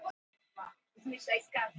Isabel, hækkaðu í hátalaranum.